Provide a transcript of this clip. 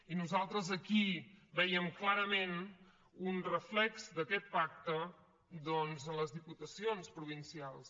i nosaltres aquí veiem clarament un reflex d’aquest pacte doncs en les diputacions provincials